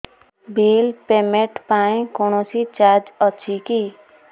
bill payment ପାଇଁ କୌଣସି charge ଅଛି କି